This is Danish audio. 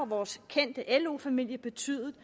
vores kendte lo familie betydet